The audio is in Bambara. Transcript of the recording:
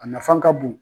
A nafan ka bon